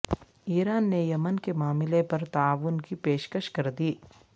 ایران نے یمن کے معاملے پر تعاون کی پیشکش کردی